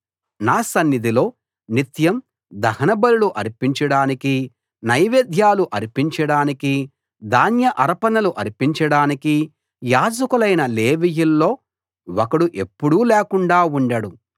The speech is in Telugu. నా సన్నిధిలో నిత్యం దహన బలులు అర్పించడానికీ నైవేద్యాలు అర్పించడానికీ ధాన్య అర్పణలు అర్పించడానికీ యాజకులైన లేవీయుల్లో ఒకడు ఎప్పుడూ లేకుండా ఉండడు